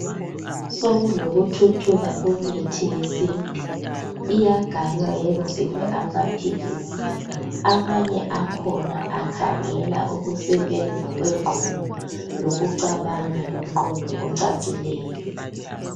Sokulokuthuthuka kwemithi yesintu, iyagaywa yenziwe amaphilisi, amanye akhona akhangela ukusebenza kwengqondo, lokucabanga lomqondo ocacileyo.